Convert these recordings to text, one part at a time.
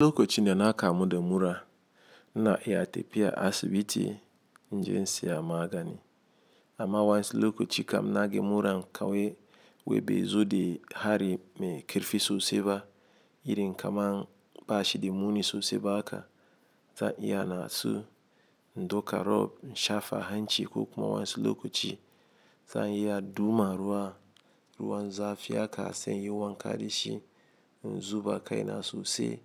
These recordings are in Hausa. Lokoci da na kamu da mura ina iya tafiya asibiti, inje in siya magani. Amma wa'yansu lokaci kam nagan muran kawe, wai be zo de hari mai kirfi sosai ba, irin kamar bashi da muni sosai ba haka. Zan iya na su, in doka rob in shafa hanci ko kuma wasu lokaci zan iya duma ruwa, ruwan zafi haka sai yi wanka da shi, in zuba kai na sosai.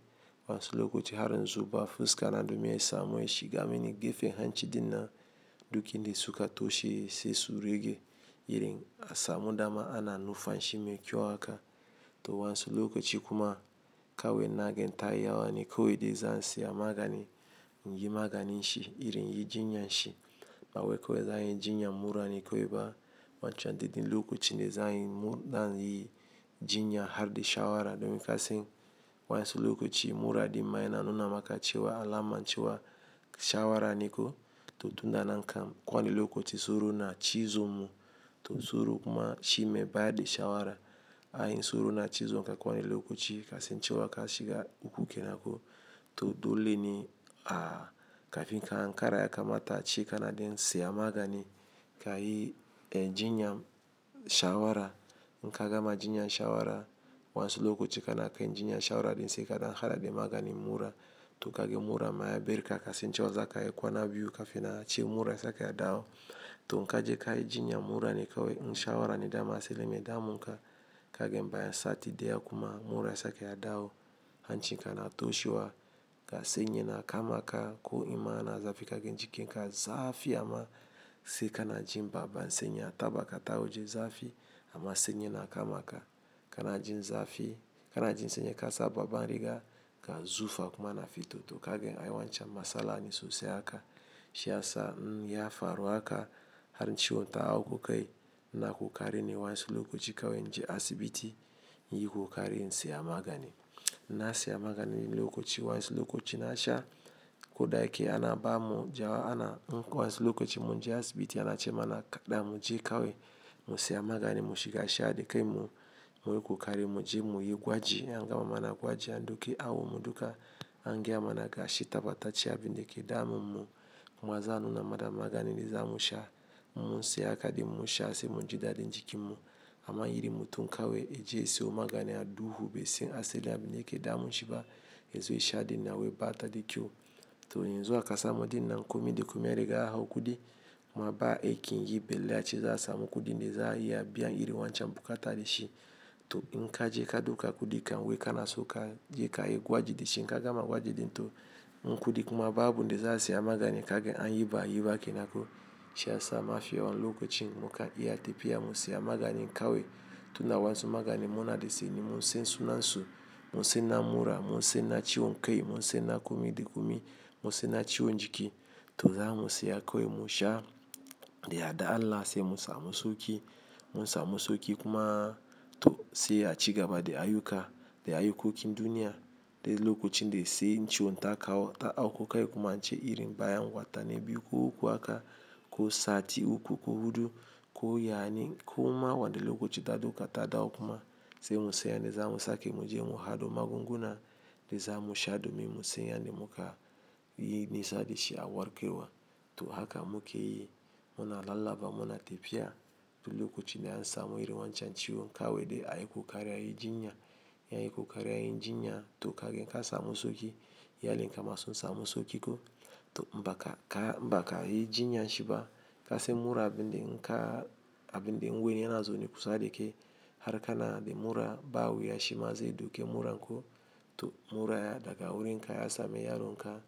Wasu lokaci har in zuba fuska na domin ya samu ya shiga mini gefen hancin dina. Duki in de suka toshe se su rege, irin asamu dama ana nufanshi mai kyau haka. To wasu lokaci kuma kawe in nagan tayi yawa ne ko ya de zanyi siya magani, in yi maganin shi irin yi jinya shi. Na waika wai zanyi jinya mura neko ba. Wancan daidai lokocin ne zanyi jinya har de shawara domin ka sai wa'yansu lokaci mura de ma yana nuna maka cewa alaman cewa shawara ne ko. To tunda nan kan ko wane lokaci soro na cizon mu, to soro kuma shi me ba de shawara. Ai in soro na cizon ka ko wane lokaci, kasai cewa ka shiga uku kenan ko. To dole ne ah, kafin ka ankara ya kamata ace kana den siyan magani ka yi jinyan shawara. In ka gama jinya shawara, wasu lokaci kana kain jinya shawara din sai ka dan hada de magani mura. To ka gen muran ma ya ber ka, kasan cewa zaka yi kwana biyu kafin a ce mura ya sake ya dawo. To in ka je ka yi jinya mura ne kawai, in shawara ne dama asalin mai damunka, ka gen baya sati daya kuma mura ya sake ya dawo. Hancin kana toshewa, ka sanyi yana kama ka ko ima na zafi ka gen jiki ka zafi amma sai kana jin baba sanyi ya taba ka tawajen zafi, amma sanyi yana kama ka kana jin zafi. Kana jin sanyi, kasa baban riga ka zufa kuma na fito to ka ga ai wancan masalani sosai haka. Shi ya sa in ya faro haka, har ciwo ta hau ko kai, ina kukari ne wasu lokaci kawe in je asibiti, in yi ku kare yin siya magani. Na siya magani lokaci wasu lokaci na sha, ko da yake ana bamu jawa ana nku wasu lokaci in mun je asibiti ana ce mana kada mu je kawai mu siya magani mu shiga sha da kai mu, mu yi ku kare mu je muyi gwaji. An gama mana gwaji an duki awon mu duka an gaya mana gashi tabɓatacce abin da ke damun mu. Kuma za a nuna mata maganin da za mu sha in mun siya haka de mun sha sai muji daɗin jikin mu. Amma iri mu tun kawe ya je ya siyo maganin a duhu bai sain asalin abin yake damun shi ba. Ya zo ya sha dinnan wai bata da kyau. To yanzu a kasanmu din nan komi de kumi ya riga ya hau kudi, kuma ba aikin yi. Belle a ce za sa mu kudi ne za a yi iya biya iri wancan bukata da shi. To in ka je ka doka kudi kan wai kana so ka je ka yi gwaji da shi, inka gama gwaji din to in kudi kuma babu de zai siya magani ka ge an yi ba yi ba kenan ko. Shi ya sa mafiya lokacin mukan iya tafiya mu siya magani kawe. Tunda wasu maganin muna da si mun siyan sunaansu, mun sen na mura, mun sen na ciwon kai, mun sen na kome de kome, mun sen na ciwon jiki, to za mu siya kawai mu sha. Da yada Allah sai mu samu sauki, mu samu sauki kuma to sai a cigaba da ayyuka, da ayyukokin duniya. Da lokacin de sai in ciwon ta kawo ta awo kokai kuma a ce irin baya wata ne biyu ko uku haka ko sati uku ko hudu ko ya ne, ko ma wanda lokaci ta doka ta dawo kuma sai mu san yadde za mu sake mu je mu haɗo magunguna de za mu sha domin mu san yadde muka yi nisa da shi a warke wa. To haka muka yi muna lalaba muna tafiya. To lokacin da ya samu iri wancan ciwo kawe de a yi ku kare a yi jinya, a yi ku kare a yin jinya to ka gen ka samu sauki. Iyalin ka ma sun samu sauki ko, to imbaka ka mbaka yi jinya shi ba. Kasain mura abin de nka abin de weni yana zaune kusa da ke har kana de mura ba wuya shi maza ya doke muran ko, to mura ya daga wurin ka ya same yaronka,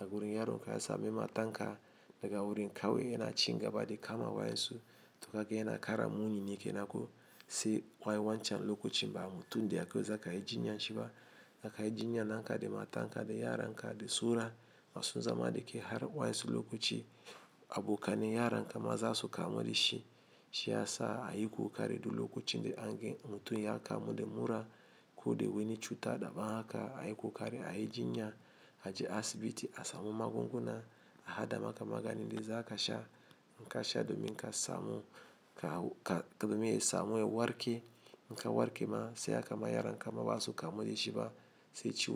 daga wurin yaronka ya same matan ka, daga wurin kawe yana cin gaba de kama wa'insu, to ka ge yana kara muni ne kenan ko. Sai wai wancan lokacin ba mutum daya kawai zaka yi jinya shi ba. Zaka yi jinya na ka de matan ka de yaran ka de saura, masu zama da ke har wasu lokaci abokanin yaran ka ma za su kamu da shi ba. Shi ya sa a yi kukare du lokacin de an ge mutum ya kamuda mura, ko de weni cuta daɓan haka a yi kukare a yi jinya, a je asibiti a samu magunguna a haɗa maka maganin de za ka sha, nka sha domin ka samu ka domin ya samu ya warke, inka warke ma sai haka ma yaran ka ma ba su kamu da shi ba sai ciwon.